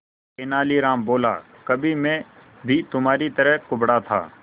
तेनालीराम बोला कभी मैं भी तुम्हारी तरह कुबड़ा था